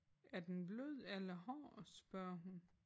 Er den blød eller hård spørger hun?